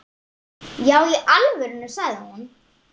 Já í alvöru, sagði hún.